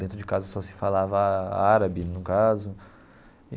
Dentro de casa só se falava árabe, no caso.